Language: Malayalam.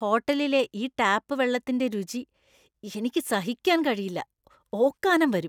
ഹോട്ടലിലെ ഈ ടാപ്പ് വെള്ളത്തിന്‍റെ രുചി എനിക്ക് സഹിക്കാൻ കഴിയില്ല, ഓക്കാനം വരും.